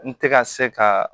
N tɛ ka se ka